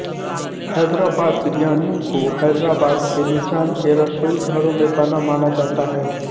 हैदराबाद बिरयानी को हैदराबाद के निज़ाम के रसोई घरों में बना माना जाता है